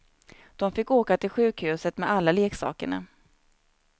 De fick åka till sjukhuset med alla leksakerna.